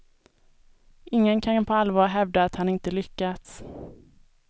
Ingen kan på allvar hävda att han inte lyckats.